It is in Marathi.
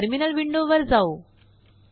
चलाटर्मिनल विंडो वर जाऊ